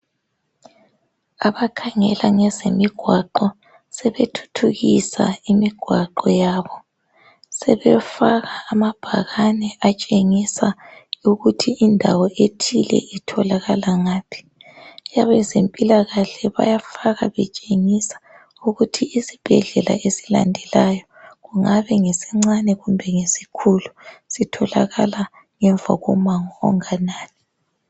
Abakhangela ngezemigwaqo sebethuthukisa imigwaqo yabo. Sebefaka amabhakane atshengisa ukuba indawo ethile itholakala ngaphi. Abezempilakahle bayafaka betshengisa ukuthi isibhedlela esilandelayo kungabe ngesincane kumbe esikhulu sitholakala ngemva komango onganani.